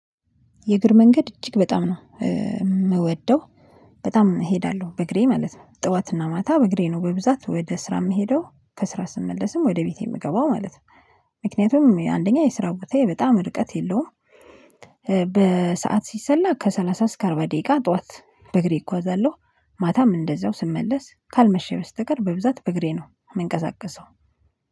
የእግር መንገድ እጅግ በጣም ነው የምወደው በጣም እሄዳለሁ በእግሬ ማለት ነው። ጠዋትና ማታ በእግሬ ነው በብዛት ወደ ስራ የምሄደው ከስራ ስመለስም ወደ ቤቴ የምገባው ማለት ነው። ምክንያቱም አንደኛ የስራ ቦታዬ በጣም ርቀት የለውም። በሰአት ሲሰላ ከሰላሳ እስከ አርባ ደቂቃ ጠዋት በእግሬ እጓዛለሁ። ማታም እንደዛው ስመለስ ካልመሸ በስተቀር በብዛት በእግሬ ነው የምንቀሳቀሰው